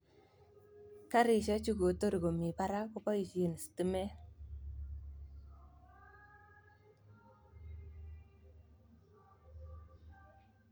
Karisiek chu kotorkomii parak koboisie stimet.